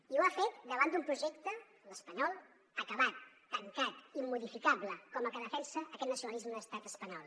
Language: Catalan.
i ho ha fet davant d’un projecte l’espanyol acabat tancat immodificable com el que defensa aquest nacionalisme de l’estat espanyol